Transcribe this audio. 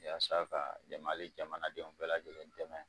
Y'a ka dɛma ali jamanadenw bɛɛ lajɛlen dɛmɛ